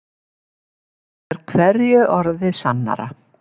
Það er hverju orði sannara.